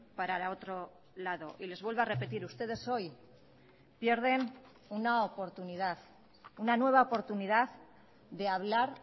para otro lado y les vuelvo a repetir ustedes hoy pierden una oportunidad una nueva oportunidad de hablar